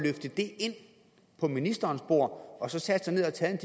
på ministerens bord og sat sig ned og taget